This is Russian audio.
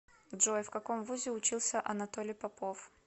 джой в каком вузе учился анатолий попов